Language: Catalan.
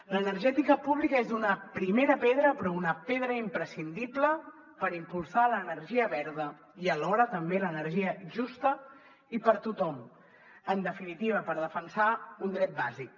l’energètica pública és una primera pedra però una pedra imprescindible per impulsar l’energia verda i alhora també l’energia justa i per a tothom en definitiva per defensar un dret bàsic